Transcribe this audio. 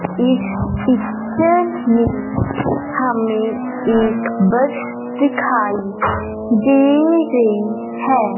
इस पिक्चर में हमें एक बस दिखाई दे रही हैं।